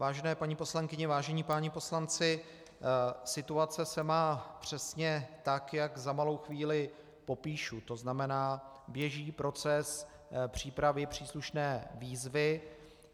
Vážené paní poslankyně, vážení páni poslanci, situace se má přesně tak, jak za malou chvíli popíšu, to znamená, běží proces přípravy příslušné výzvy.